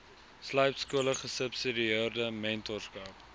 slypskole gesubsidieerde mentorskap